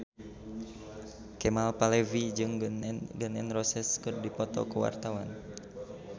Kemal Palevi jeung Gun N Roses keur dipoto ku wartawan